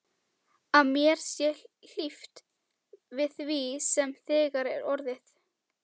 Að mér sé hlíft við því sem þegar er orðið.